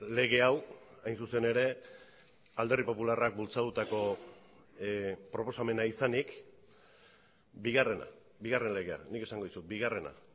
lege hau hain zuzen ere alderdi popularrak bultzatutako proposamena izanik bigarrena bigarren legea nik esango dizut bigarrena